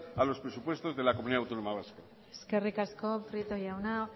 a los presupuestos de la comunidad autónoma vasca eskerrik asko prieto jauna